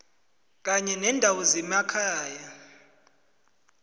kanye nendawo zemakhaya